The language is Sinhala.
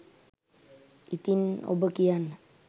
ඉතින් ඔබ කියන්න